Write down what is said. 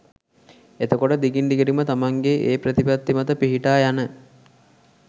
එතකොට දිගින් දිගට ම තමන්ගේ ඒ ප්‍රතිපත්ති මත පිහිටා යන